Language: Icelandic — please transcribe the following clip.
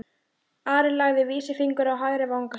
Ari lagði vísifingur á hægri vanga sinn.